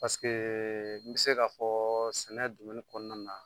Paseke n bɛ se k'a fɔ sɛnɛ kɔnɔna na.